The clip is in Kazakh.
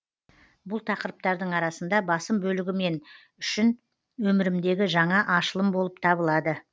бұл тақырыптардың арасында басым бөлігі мен үшін өмірімдегі жаңа ашылым болып табылады